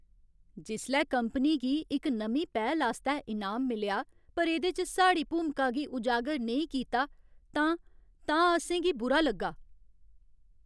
जिसलै कंपनी गी इक नमीं पैह्ल आस्तै इनाम मिलेआ पर एह्दे च साढ़ी भूमिका गी उजागर नेईं कीता तां तां असें गी बुरा लग्गा।